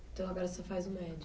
Então, agora você faz o médio?